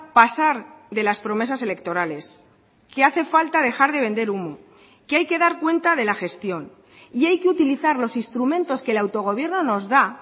pasar de las promesas electorales que hace falta dejar de vender humo que hay que dar cuenta de la gestión y hay que utilizar los instrumentos que el autogobierno nos da